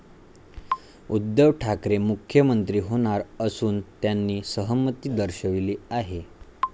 उद्धव ठाकरे मुख्यमंत्री होणार असून त्यांनी सहमती दर्शवली आहे.